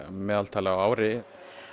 meðaltali á ári